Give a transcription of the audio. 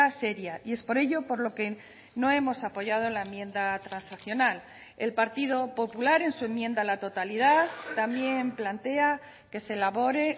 seria y es por ello por lo que no hemos apoyado la enmienda transaccional el partido popular en su enmienda a la totalidad también plantea que se elabore